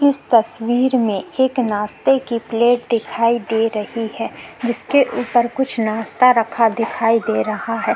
इस तस्वीर में एक नास्ते की प्लेट दिखाई दे रही है जिसके ऊपर कुछ नास्ता रखा दिखाई दे रहा है।